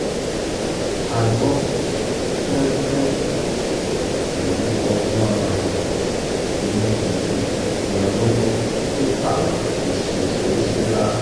a gbọ́ fínrínfinrin pẹ̀lú ọgbọ́n-inú gidi ní ọlọ́gbọ́ tó ta wá kì í ṣe ṣeréṣeré rárá